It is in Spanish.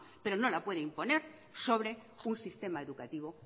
pero no la puede imponer sobre un sistema educativo